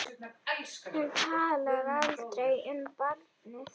Hún talar aldrei um barnið.